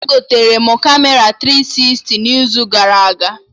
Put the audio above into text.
Egotere m Kamera tiri sisti n'izu gara aga